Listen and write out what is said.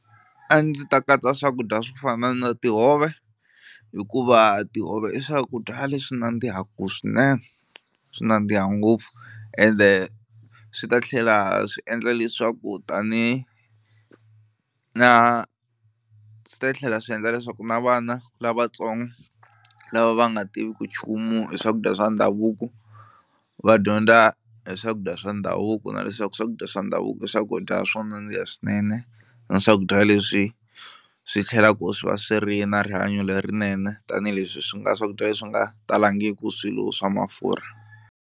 A ndzi ta katsa swakudya swo fana na tihove hikuva tihove i swakudya leswi nandzihaku swinene swi nandziha ngopfu ende swi ta tlhela swi endla leswaku tani na swi ta tlhela swi endla leswaku na vana lavatsongo lava va nga tiviki nchumu hi swakudya swa ndhavuko va dyondza hi swakudya swa ndhavuko na leswaku swakudya swa ndhavuko i swakudya swo nandziha swinene na swakudya leswi swi tlhelaku swi va swi ri na rihanyo lerinene tanihileswi swi nga swakudya leswi nga talangiki swilo swa mafurha.